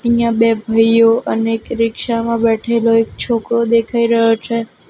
અહીંયા બે ભાઇઓ અને એક રિક્ષા માં બેઠેલો એક છોકરો દેખાય રહ્યો છે.